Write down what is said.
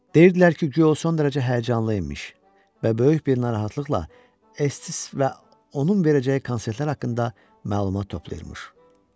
Deyirdilər ki, guya o son dərəcə həyəcanlı imiş və böyük bir narahatlıqla Ests və onun verəcəyi konsertlər haqqında məlumat toplayırmış.